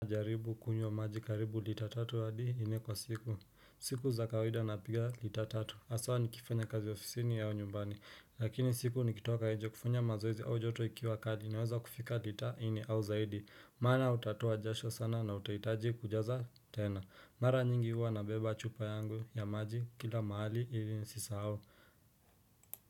Jaribu kunywa maji karibu lita tatu adi innekwa siku siku za kawaida napiga lita tatu haswa nikifanya kazi ofisini au nyumbani lakini usiku nikitoka nje kufanya mazoezi au joto ikiwa kali naweza kufika lita inne au zaidi maana utatoa jasho sana na utahitaji kujaza tena mara nyingi hua na beba chupa yangu ya maji kila mahali ili nisisahau.